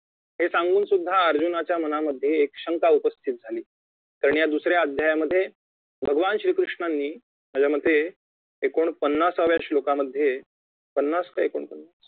हे सांगून सुद्धा अर्जुनाच्या मनामध्ये एक शंका उपस्थित झाली कारण या दुसऱ्या अध्यायामध्ये भगवान श्री कृष्णांनी माझ्या मते एकोणपन्नासाव्या श्लोकामध्ये पन्नास कि एकोणपन्नास